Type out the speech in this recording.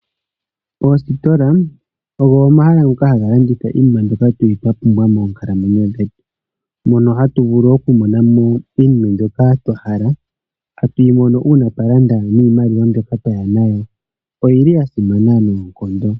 Oostola ogo omahala ngoka haga landitha iinima mbyoka tuli twa pumbwa moonkalamwenyo dhetu, mono hatu vulu oku monamo iinima mbyoka twa hala, hatuyi mono uuna twa landa niimaliwa mbyoka twaya nawo. Oyili ya simana noonkondo.